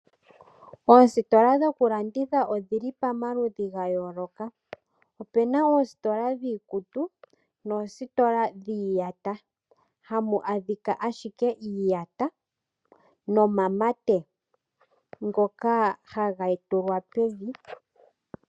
Oositola dhoku landitha odhili pamaludhi ga yooloka opuna oositola dhiikutu noositola dhiiyata hamu ashika ashike iiyata nomamate ngoka haga tulwa pevi.